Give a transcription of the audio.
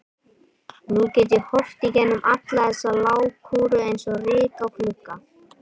Nú get ég horft í gegnum alla þessa lágkúru eins og ryk á glugga.